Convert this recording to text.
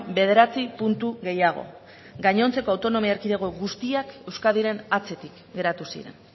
bederatzi puntu gehiago gainontzeko autonomi erkidego guztiak euskadiren atzetik geratu ziren